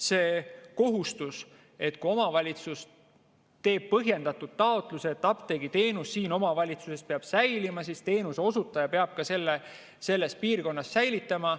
Selle kohustuse, et kui omavalitsus teeb põhjendatud taotluse, et apteegiteenus omavalitsuses peab säilima, siis teenuse osutaja peab seda selles piirkonnas säilitama.